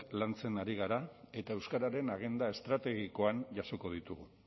lantzen ari gara eta euskararen agenda estrategikoan jasoko ditugu